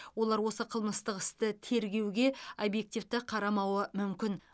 олар осы қылмыстық істі тергеуге объективті қарамауы мүмкін